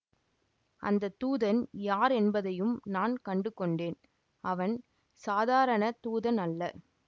அந்த தூதன் யார் என்பதையும் நான் கண்டு கொண்டேன் அவன் சாதாரணத் தூதன் அல்ல